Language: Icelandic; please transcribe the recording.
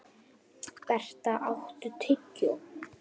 Berta, áttu tyggjó?